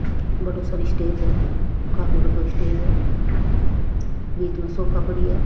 बढ़ो सारो स्टेज है काफी बढ़ो स्टेज है बीच में सोफा पड़िया है।